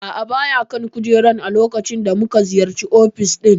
A'a baya kan kujerar a lokacin da muka ziyarci ofis ɗin.